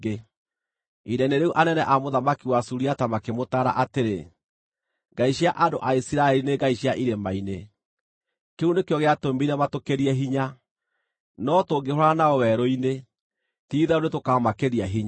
Ihinda-inĩ rĩu anene a mũthamaki wa Suriata makĩmũtaara atĩrĩ, “Ngai cia andũ a Isiraeli nĩ ngai cia irĩma-inĩ. Kĩu nĩkĩo gĩatũmire matũkĩrie hinya. No tũngĩhũũrana nao werũ-inĩ, ti-itherũ nĩtũkamakĩria hinya.